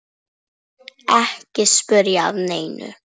Ekki spyrja að neinu!